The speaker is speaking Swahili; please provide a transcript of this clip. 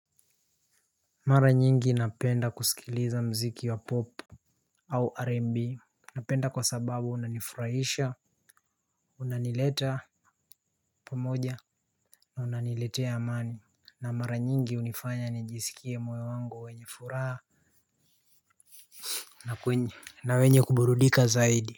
Mara nyingi napenda kusikiliza mziki wa 'pop' au 'R&B 'Napenda kwa sababu unanifurahisha, Unanileta Pamoja na unaniletea amani. Na mara nyingi hunifanya nijisikie moyo wangu wenye furaha na wenye kuburudika zaidi.